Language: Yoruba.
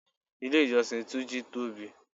Ilé ìjọsìn túnjí tóbi